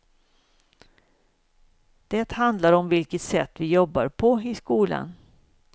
Det handlar om vilket sätt vi jobbar på i skolan.